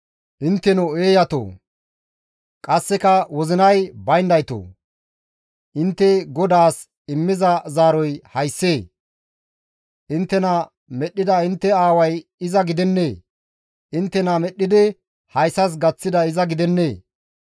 «Intteno eeyatoo! Qasseka wozinay bayndaytoo! Intte GODAAS immiza zaaroy hayssee? Inttena medhdhida intte aaway iza gidennee? Inttena medhdhidi hayssas gaththiday iza gidennee?